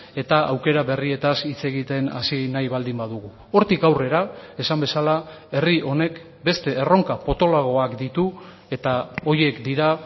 eta aukera berrietaz hitz egiten hasi nahi baldin badugu hortik aurrera esan bezala herri honek beste erronka potoloagoak ditu eta horiek dira